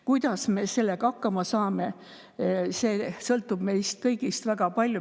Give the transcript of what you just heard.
Kuidas me sellega hakkama saame, sõltub meist kõigist väga palju.